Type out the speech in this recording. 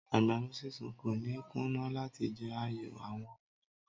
Àgbàdo sísun kò ní kùnà láti jẹ́ ààyò àwọn ènìyàn.